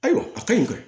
Ayiwa a ka ɲi ka